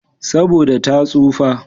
Saboda ta tsufa.